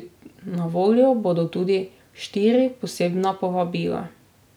Na voljo bodo tudi štiri posebna povabila.